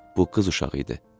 Bu qız uşağı idi.